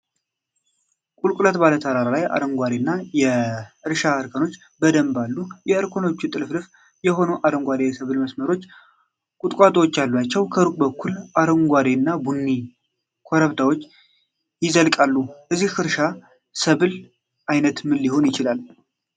ቁልቁለት ባለ ተራራ ላይ አረንጓዴ የ እርሻ እርከኖች በደንብ አሉ። እርከኖቹ ጥልፍልፍ የሆኑ አረንጓዴ የሰብል መስመሮችና ቁጥቋጦዎች አሏቸው። ከሩቅ በኩል አረንጓዴና ቡኒ ኮረብታዎች ይዘልቃሉ። የዚህ እርሻ ሰብል አይነት ምን ሊሆን ይችላል?